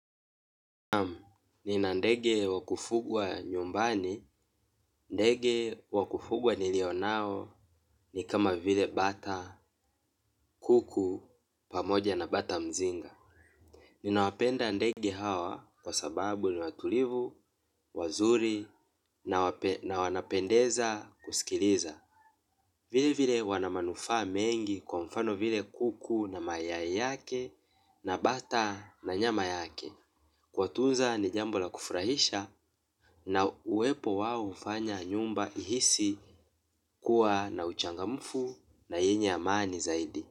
Naam, nina ndege wakufugwa nyumbani, ndege wakufugwa nilio nao ni kama vile bata kuku pamoja na bata mzinga. Ninawapenda ndege hawa kwa sababu ni watulivu, wazuri na wanapendeza kusikiliza. Vile vile wana manufaa mengi kwa mfano vile kuku na mayai yake na bata na nyama yake. Kuwatunza ni jambo la kufurahisha na uwepo wao hufanya nyumba ihisi kuwa na uchangamfu na yenye amani zaidi.